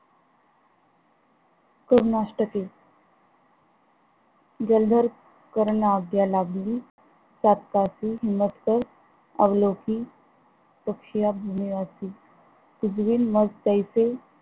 करुणाष्टके जलधर ताठकासी, मग ते अवलौकी तपशिया भूमियासी तुजविण मग तैसी